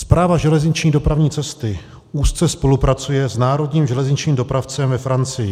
Správa železniční dopravní cesty úzce spolupracuje s národním železničním dopravcem ve Francii.